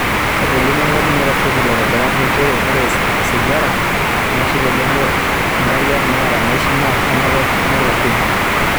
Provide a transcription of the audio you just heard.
Etolimuo enkapuni naitasheiki ilaitobirak nchere ore osigara, inaishi tenebo ngariak naata naishi naa kenare nelak kodi